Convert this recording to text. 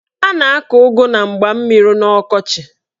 A na-akọ ụgụ na mgba mmiri n'ọkọchị.